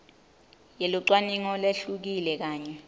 yelucwaningo lehlukile kanye